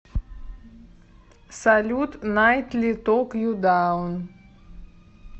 салют найтли ток ю даун